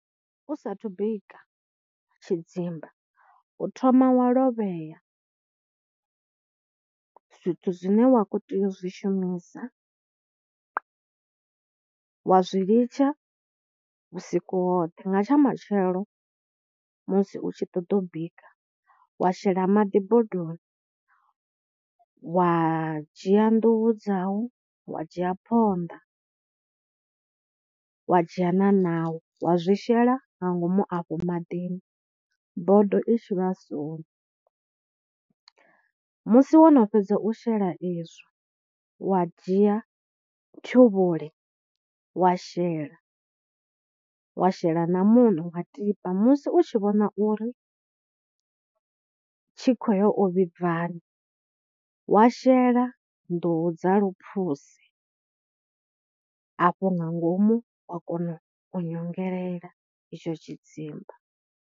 U saathu bika tshidzimba u thoma wa lovhea zwithu zwine wa kho tea u zwi shumisa, wa zwi litsha vhusiku hoṱhe. Nga tsha matshelo musi u tshi ṱoḓa u bika wa shela maḓi bodoni wa dzhia nḓuhu dzau, wa dzhia phonḓa, wa dzhia na naho wa zwi shela nga ngomu afho maḓini bodo i tshi vhasoni. Musi wo no fhedza u shela izwo wa dzhia ṱhuvhule wa shela, wa shela na muṋo wa tiba, musi u tshi vhona uri tshi kho ya u vhibvaho, wa shela nḓuhu dza luphuse afho nga ngomu wa kona u nyongelela itsho tshidzimba.